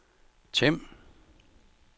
Them